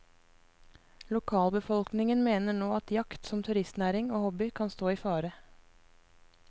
Lokalbefolkningen mener nå at jakt som turistnæring og hobby kan stå i fare.